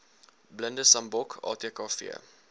blinde sambok atkv